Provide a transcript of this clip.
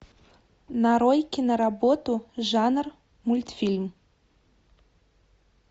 нарой киноработу жанр мультфильм